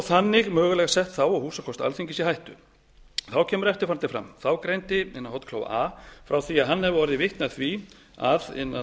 þannig mögulega sett þá og húsakost alþingis í hættu þá kemur eftirfarandi fram þá greindi a frá því að hann hefði orðið vitni af því að